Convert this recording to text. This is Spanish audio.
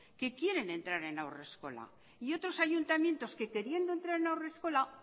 que quieren entrar en haurreskola y otros ayuntamientos que queriendo entrar en haurreskola